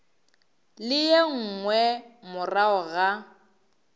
le ye nngwe morago ga